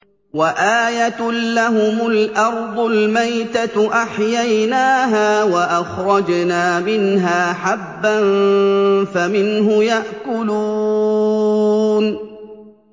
وَآيَةٌ لَّهُمُ الْأَرْضُ الْمَيْتَةُ أَحْيَيْنَاهَا وَأَخْرَجْنَا مِنْهَا حَبًّا فَمِنْهُ يَأْكُلُونَ